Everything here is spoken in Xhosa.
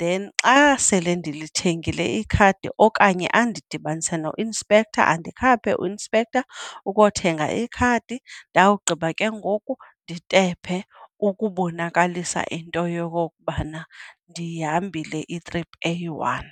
Then xa sele ndilithengile ikhadi okanye andidibanise no-inspector, andikhaphe u-inspector ukuyothenga ikhadi ndawugqiba ke ngoku nditephe ukubonakalisa into yokokubana ndiyihambile i-trip eyi-one.